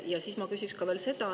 Ja siis ma küsin veel.